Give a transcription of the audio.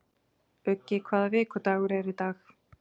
Uggi, hvaða vikudagur er í dag?